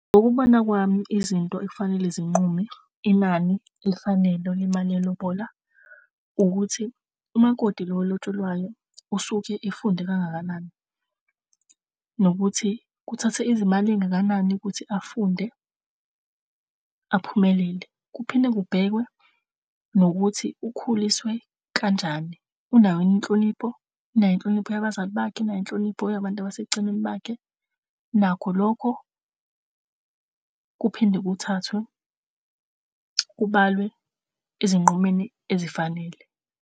Ngokubona kwami izinto ekufanele zinqume inani elifanele lona imali lelobola ukuthi umakoti lo olotsholwayo usuke efunde kangakanani nokuthi kuthathe izimali ezingakanani ukuthi afunde aphumelele. Kuphindwe kubhekwe nokuthi ukhuliswe kanjani, unayo yini inhlonipho, inayo inhlonipho yabazali bakhe, inayo inhlonipho yabantu abaseceleni bakhe. Nakho lokho kuphinde kuthathwe kubalwe ezinqumeni ezifanele.